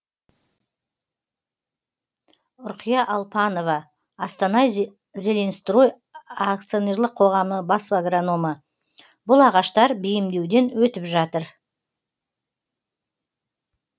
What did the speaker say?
үрқия алпанова астана зеленстрой ақ бас аграномы бұл ағаштар бейімдеуден өтіп жатыр